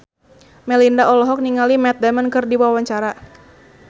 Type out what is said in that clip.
Melinda olohok ningali Matt Damon keur diwawancara